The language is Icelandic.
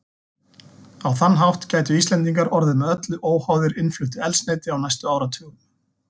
Á þann hátt gætu Íslendingar orðið með öllu óháðir innfluttu eldsneyti á næstu áratugum.